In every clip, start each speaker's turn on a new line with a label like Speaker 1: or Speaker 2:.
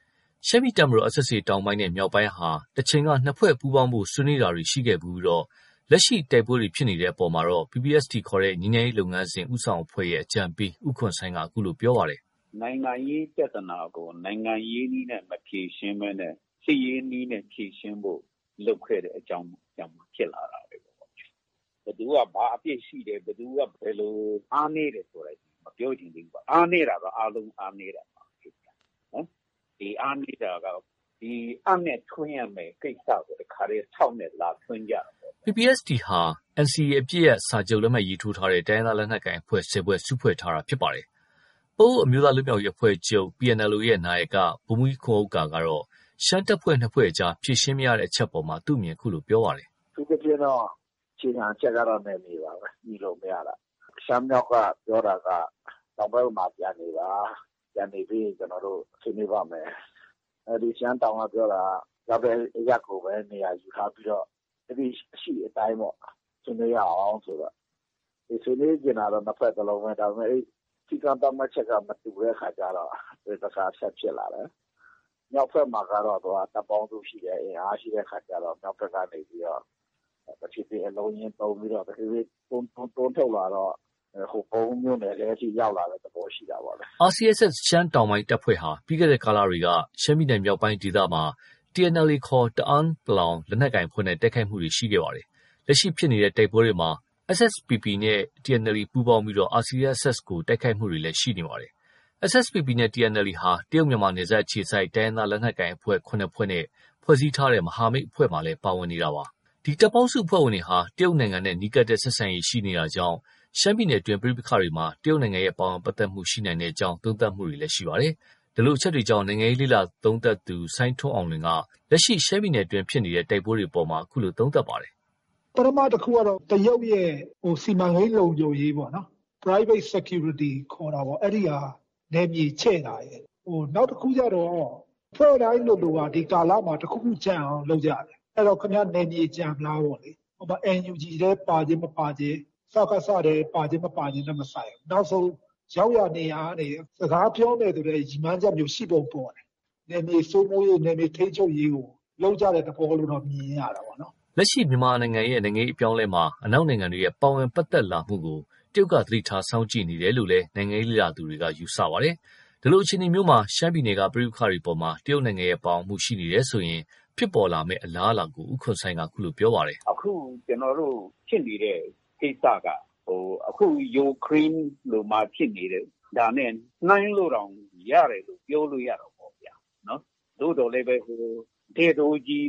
Speaker 1: ။ ရှမ်းပြည်တပ်မတော် SSA တောင်ပိုင်းနဲ့ မြောက်ပိုင်းဟာ တချိန်က နှစ်ဖွဲ့ပူးပေါင်းဖို့ ဆွေးနွေးတာတွေ ရှိခဲ့ဖူးပြီး လက်ရှိ တိုက်ပွဲတွေဖြစ်နေတဲ့အပေါ်မှာ PPST ခေါ် ငြိမ်းချမ်းရေးလုပ်ငန်းစဉ် ဦးဆောင်အဖွဲ့ရဲ့ အကြံပေး ဦးခွန်ဆိုင်းက အခုလို ပြောပါတယ်
Speaker 2: ။ “နိုင်ငံရေးပြဿနာကို နိုင်ငံရေးနည်းနဲ့ မဖြေရှင်းဘဲနဲ့ စစ်ရေးနည်းနဲ့ ဖြေရှင်းဖို့လုပ်ခဲ့တဲ့ အကြောင်းကြောင့် ဖြစ်လာတာပဲ။ ဘယ်သူက ဘာအပြစ်ရှိတယ်၊ ဘယ်သူက ဘယ်လိုဆိုတာတွေ မပြောချင်သေးဘူး။ အားနည်းတာက အားလုံး အားနည်းတာပဲ။ ဒီအားနည်းတာက အပ်နဲ့ထွင်းရမယ့်ကိစ္စကို တခါတည်း ဆောက်နဲ့ လာထွင်းကြတာပေါ
Speaker 1: ့ဗျာ။” PPST ဟာ NCA အပစ်ရပ်စာချုပ် လက်မှတ်ထိုးထားတဲ့ တိုင်းရင်းသား လက်နက်ကိုင်အဖွဲ့ ၁၀ ဖွဲ့ စုဖွဲ့ထားတာ ဖြစ်ပါတယ်။ ပအိုဝ်းအမျိုးသားလွတ်မြောက်ရေးအဖွဲ့ချုပ် PNLO ရဲ့ နာယက ဗိုလ်မှူးကြီးခွန်ဥက္ကာက ရှမ်းတပ်ဖွဲ့ ၂ ဖွဲ့အကြား ဖြေရှင်းမရတဲ့ အချက်အပေါ် အခုလိုပြောပါတယ်။ “
Speaker 2: အထူးသဖြင့်တော့ အခြေခံအချက်ကတော့ နယ်မြေပါပဲ။ ညှိလို့မရတာ။ ရှမ်းမြောက်က ပြောတာက တောင်ဘက်မှာ ပြန်နေပါ။ ပြန်နေပြီးရင် ကျနော်တို့ ဆွေးနွေးပါ့မယ်။ ရှမ်းတောင်ကပြောတာက ရောက်တဲ့အရပ်ကိုပဲ နေရာယူထားပြီးတော့ လက်ရှိ အရှိအတိုင်းပေါ့ ဆွေးနွေးရအောင်ဆိုတော့၊ ဆွေးနွေးချင်တာတော့ နှစ်ဖွဲ့စလုံးပဲ။ ဒါပေမယ့် စည်းကမ်းသတ်မှတ်ချက်က မတူတဲ့အခါကျတော့ ပဋိပက္ခက ဆက်ဖြစ်လာတယ်။ မြောက်ဘက်မှာကျတော့ တပ်ပေါင်းစုရှိတယ်။ အင်အားရှိတဲ့ အခါကျတော့ မြောက်ဘက်ကနေပြီးတော့ တဖြည်းဖြည်း အလုံးအရင်းသုံးပြီး တွန်းထုတ်လာတော့ ဟိုပုံးမြို့နယ်ထဲအထိ ရောက်လာတဲ့သဘော ရှိတာပေ့ါလေ
Speaker 1: ။” RCSS ရှမ်းတောင်တပ်ဖွဲ့ဟာ ပြီးခဲ့တဲ့ကာလတွေက ရှမ်းပြည်နယ်မြောက်ပိုင်းဒေသမှာ TNLA ခေါ် တအန်း လက်နက်ကိုင်အဖွဲ့နဲ့ တိုက်ခိုက်တာတွေ ရှိခဲ့တာပါ။ လက်ရှိဖြစ်ပွားတဲ့ တိုက်ပွဲတွေမှာ SSPP နဲ့ TNLA ပူးပေါင်းပြီး RCSS ကို တိုက်ခိုက်တယ်ဆိုတဲ့ သတင်းတွေ ထွက်ပေါ်နေတာပါ။ SSPP နဲ့ TNLA ဟာ တရုတ်-မြန်မာ နယ်စပ်အခြေစိုက် တိုင်းရင်းသား လက်နက်ကိုင်အဖွဲ့ ၇ ဖွဲ့နဲ့ ဖွဲ့စည်းထားတဲ့ မဟာမိတ်အဖွဲ့မှာလည်း ပါဝင်နေတာ ဖြစ်ပါတယ်။ ဒီတပ်ပေါင်းစုအဖွဲ့ဝင်တွေဟာ တရုတ်နိုင်ငံနဲ့ နီးကပ်တဲ့ ဆက်ဆံရေး ရှိနေတာကြောင့် ရှမ်းပြည်နယ်အတွင်း ပဋိပက္ခတွေမှာ တရုတ်ရဲ့ ပါဝင်ပတ်သက်မှု ရှိနိုင်ကြောင်း သုံးသပ်တာတွေလည်း ရှိနေပါတယ်။ ဒီလိုအချက်တွေကြောင့် နိုင်ငံရေးလေ့လာသုံးသပ်သူ စိုင်းထွန်းအောင်လွင်က လက်ရှိ ရှမ်းပြည်နယ်အတွင်း ဖြစ်ပွားနေတဲ့ တိုက်ပွဲတွေအပေါ် အခုလို သုံးသပ်ပါတယ်
Speaker 2: ။ “ပထမတခုကတော့ တရုတ်ရဲ့ စီမံကိန်း လုံခြုံရေးပေါ့နော်။ Private Security ခေါ်တာပေါ့။ အဲဒီဟာ နယ်မြေချဲ့တာရယ်၊ နောက်တခုကတော့ အဖွဲ့တိုင်းလိုလိုက ဒီကာလမှာ နောက်တခုကျန်အောင် လုပ်ကြတယ်။ အဲတော့ နယ်မြေကျန်မလားပေ့ါလေ။ NUG ထဲ ပါခြင်းမပါခြင်း။ စကစထဲ ပါခြင်း မပါခြင်းနဲ့ မဆိုင်ဘူး။ ရောက်ရာနေရာကနေ စကားပြောမယ်ဆိုတဲ့ ရည်မှန်းချက်မျိုး ရှိပုံပေါ်တယ်။ နယ်မြေစိုးမိုးရေး၊ နယ်မြေထိန်းချုပ်ရေးကို လုပ်ကြတဲ့ သဘောလို့တော့ မြင်ရတာပေ့ါ။”
Speaker 1: လက်ရှိ မြန်မာပြည်ရဲ့ နိုင်ငံရေး အပြောင်းအလဲမှာ အနောက်နိုင်ငံတွေရဲ့ ပါဝင်ပတ်သက်လာမှုကို တရုတ်က သတိထား စောင့်ကြည့်နေတယ်လို့လည်း နိုင်ငံရေးလေ့လာသူတွေက သုံးသပ်ထားတာပါ။ ဒီလိုအခြေအနေမှာ ရှမ်းပြည်နယ်က ပဋိပက္ခတွေအပေါ် တရုတ်နိုင်ငံရဲ့ ပါဝင်မှု ရှိနေတယ်ဆိုရင် ဖြစ်ပေါ်လာမယ့် အလားအလာကို ဦးခွန်ဆိုင်းက အခုလို ပြောပါတယ်။
Speaker 2: “အခု ကျနော်တို့ဖြစ်နေတဲ့ ကိစ္စက အခု ယူကရိန်းမှာဖြစ်နေတဲ့ဟာနဲ့ နှိုင်းလို့တောင် ရတယ်လို့ ပြောလို့ရတာပေါ့။ သို့သော်လည်း သူက တည့်တိုးကြီး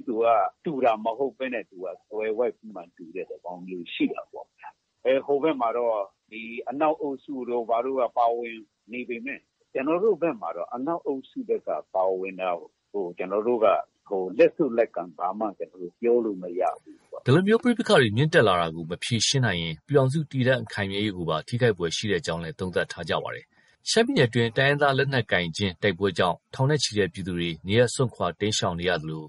Speaker 2: တူတာမဟုတ်ဘဲနဲ့ သွယ်ဝိုက်ပြီးမှ တူတဲ့သဘောမျိုး ရှိတာပေါ့ဗျာ။ ဟိုဘက်မှာတော့ ဒီ အနောက်အုပ်စုတို့ ဘာတို့က ပါဝင်နေပေမယ့် ကျနော်တို့ဘက်မှာတော့ အနောက်အုပ်စုက ပါဝင်တာကို ကျနော်တို့က လက်ဆုပ်လက်ကိုင် ဘာမှ ပြောလို့မရဘူး
Speaker 1: ပေါ့။” ဒီလို ပဋိပက္ခတွေ မြင့်တက်လာတာကို မဖြေရှင်းနိုင်ရင် ပြည်ထောင်စု တည်တံ့ခိုင်မြဲရေးကိုပါ ထိခိုက်ဖွယ်ရှိကြောင်းလည်း သုံးသပ်ထားပါတယ်။ ရှမ်းပြည်နယ်အတွင်း တိုင်းရင်းသား လက်နက်ကိုင်ချင်း တိုက်ပွဲကြောင့် ထောင်နဲ့ချီတဲ့ ပြည်သူတွေ နေရပ်စွန့်ခွာ တိမ်းရှောင်နေရသလို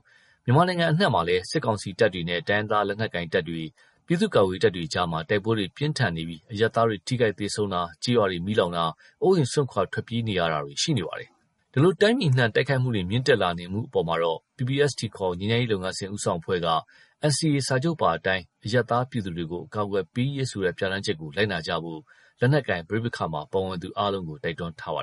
Speaker 1: မြန်မာနိုင်ငံ အနှံ့မှာလည်း စစ်ကောင်စီတပ်တွေနဲ့ တိုင်းရင်းသား လက်နက်ကိုင်တပ်တွေ၊ ပြည်သူ့ကာကွယ်ရေးတပ်တွေ အကြားမှာ တိုက်ပွဲတွေ ပြင်းထန်နေပြီး အရပ်သားတွေ ထိခိုက်သေဆုံးတာ၊ ကျေးရွာတွေ မီးလောင်တာ၊ အိုးအိမ်စွန့်ခွာ ထွက်ပြေးနေရတာတွေ မြင့်တက်နေပါတယ်။ ဒီလို တိုင်းပြည်အနှံ့ တိုက်ခိုက်မှုတွေ မြင့်တက်လာနေမှု အပေါ်မှာတော့ PPST ခေါ် ငြိမ်းချမ်းရေးလုပ်ငန်းစဉ် ဦးဆောင်အဖွဲ့က NCA စာချုပ်ပါအတိုင်း အရပ်သား ပြည်သူတွေကို အကာအကွယ်ပေးရေးဆိုတဲ့ ပြဋ္ဌာန်းချက်ကို လိုက်နာကြဖို့ လက်နက်ကိုင် ပဋိပက္ခမှာ ပါဝင်သူအားလုံးကို တိုက်တွန်းထားပါ